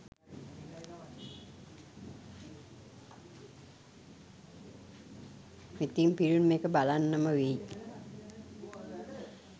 ඉතින් ෆිල්ම් එක බලන්නම වෙයි.